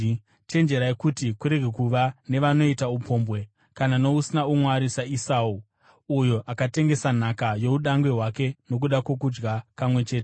Chenjerai kuti kurege kuva nevanoita upombwe, kana nousina umwari saEsau, uyo akatengesa nhaka youdangwe hwake nokuda kwokudya kamwe chete.